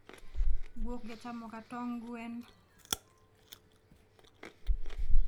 guok jachamoga tong gwen